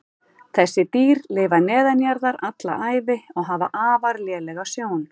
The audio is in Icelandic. Þessi dýr lifa neðanjarðar alla ævi og hafa afar lélega sjón.